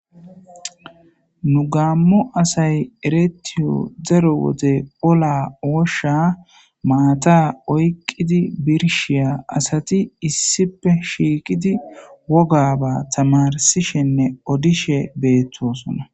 nu gaammo asay eretiyo zaro wode ola wosha maata oyqqidi birshiya asati issipe shiiqidi woga ba tamarsishenne odishe beettosona